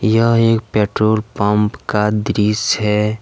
यह एक petrol pump का दृश्य है।